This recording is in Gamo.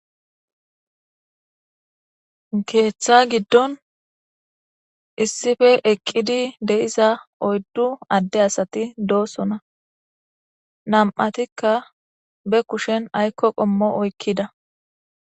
Keeththa giddon issife eqqidi deiza oyddu adde asati doosona nam'atikka be kushen aykko qommo oykkida